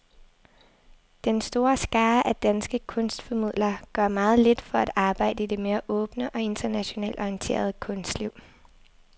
Den store skare af danske kunstformidlere gør meget lidt for at arbejde i det mere åbne og internationalt orienterede kunstliv.